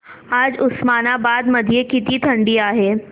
आज उस्मानाबाद मध्ये किती थंडी आहे